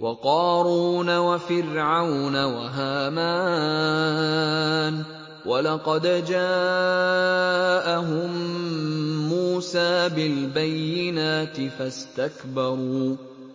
وَقَارُونَ وَفِرْعَوْنَ وَهَامَانَ ۖ وَلَقَدْ جَاءَهُم مُّوسَىٰ بِالْبَيِّنَاتِ